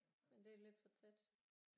Men det er lidt for tæt